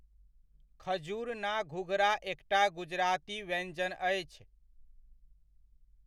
खजूर णा घूघरा एकटा गुजराती व्यञ्जन अछि।